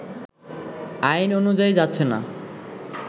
আইন অনুযায়ী যাচ্ছেনা